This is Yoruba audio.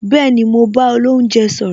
Bẹẹni, mo bá olounje sọ̀rọ̀